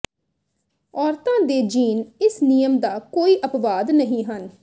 ਔਰਤਾਂ ਦੇ ਜੀਨ ਇਸ ਨਿਯਮ ਦਾ ਕੋਈ ਅਪਵਾਦ ਨਹੀਂ ਹਨ